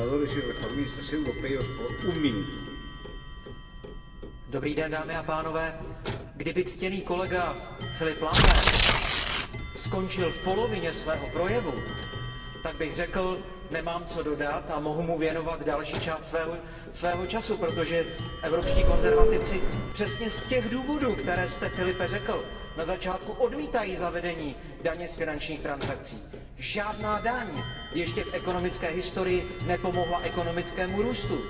Pane předsedající, kdyby ctěný kolega Philippe Lamberts skončil v polovině svého projevu, tak bych řekl, nemám co dodat a mohu mu věnovat další část svého času, protože evropští konzervativci přesně z těch důvodů, které jste Filipe řekl, na začátku odmítají zavedení daně z finančních transakcí. Žádná daň ještě v ekonomické historii nepomohla ekonomickému růstu.